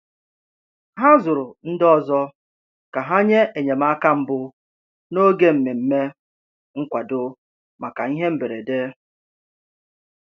Ha zụrụ ndị ọzọ ka ha nye enyemaka mbụ n'oge mmemme nkwado maka ihe mberede.